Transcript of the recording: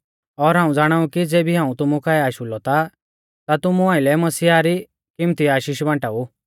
और हाऊं ज़ाणाउ कि ज़ेबी हाऊं तुमु काऐ आशु लौ ता तुमु आइलै मसीहा री किम्मती आशीष बांटाऊ